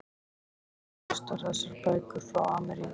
Hún kom með flestar þessar bækur frá Ameríku.